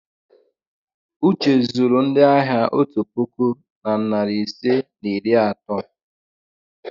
uche zuru ndị ahịa otu puku na narị ise na iri atọ.